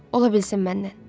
Ola bilsin məndən.